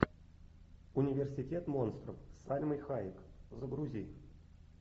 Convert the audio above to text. университет монстров с сальмой хайек загрузи